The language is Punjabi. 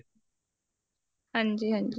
ਹਾਂਜੀ ਹਾਂਜੀ